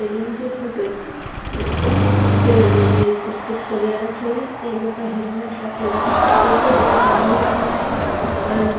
सैलून के फोटो छींके यहाँ पर दो कुर्सी लगलो एक कुर्सी पर तौलिया रखलो जे एगो पर हेलमेट रखलो जे पीछे एक आदमी खड़ा जे और --